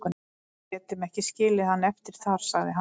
Við getum ekki skilið hann eftir þar, sagði hann.